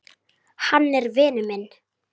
Hann er vinur minn.